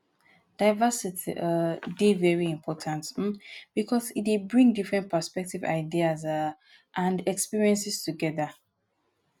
diversity um dey very important um because e dey bring different perspectives ideas um and experiences together.